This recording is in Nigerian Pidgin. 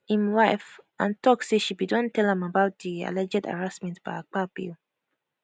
im wifeand tok say she bin don tell am about di alleged harassment by akpabio